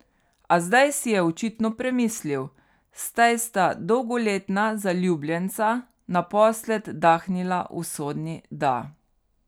A zdaj si je očitno premislil, saj sta dolgoletna zaljubljenca naposled dahnila usodni da.